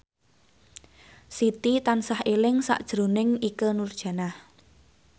Siti tansah eling sakjroning Ikke Nurjanah